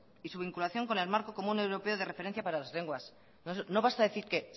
y su vinculación con el marco común europeo de referencia para las lenguas no basta decir que